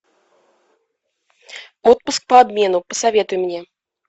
отпуск по обмену посоветуй мне